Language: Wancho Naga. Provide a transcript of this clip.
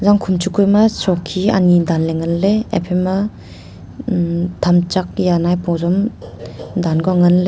zangkhon chukao ma shokhI anyI danle ngan le haphaI ma tham chak hia maipua jong danka ngan le.